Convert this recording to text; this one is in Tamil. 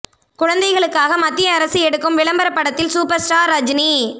குழந்தைகளுக்காக மத்திய அரசு எடுக்கும் விளம்பரப் படத்தில் சூப்பர் ஸ்டார் ரஜினி